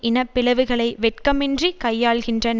இன பிளவுகளை வெட்கமின்றி கையாள்கின்றன